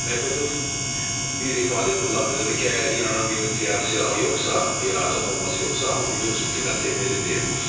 Medvedyev bir ifadə qullandı və ki əgər İranın bir nükleer silahı yoxsa, ya atom bombası yoxsa, amma bir dost ölkədən təmin edə bilər.